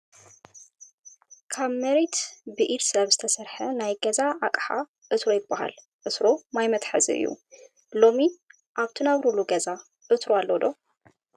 ካብ መሬት ብኢድ ሰብ ዝተሰርሐ ናይ ገዛ ኣቅሓ ዕትሮ ይበሃል። ዕትሮ ማይ መትሓዚ እዩ። ሎሚ ኣብ ትነብርሉ ገዛ ዕትሮ ኣሎ ዶ ?